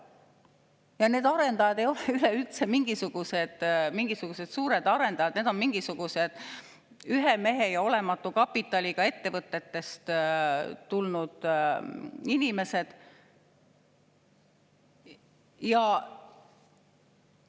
Ja need arendajad ei ole üleüldse mingid suured arendajad, need on mingisugused ühe mehe ja olematu kapitaliga ettevõtetest tulnud inimesed.